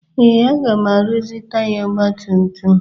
Ee, aga m arụzi taya ọgba tum tum m